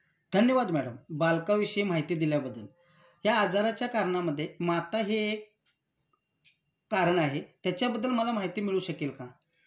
धन्यवाद मॅडम बालकांविषयी माहिती दिल्याबद्दल. या आजाराच्या करणांमध्ये माता हे कारण आहे. त्याच्याबद्दल मला माहिती मिळू शकेल का?